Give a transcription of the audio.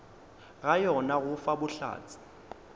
ga yona go fa bohlatse